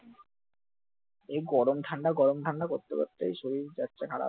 এই গরম ঠান্ডা গরম ঠান্ডা করতে করতে শরীরটা যাচ্ছে খারাপ ।